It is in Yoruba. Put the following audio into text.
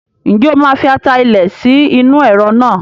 Ǹjẹ́ o máa fi ata ilẹ̀ sí inú Ẹ̀rọ̀ náà?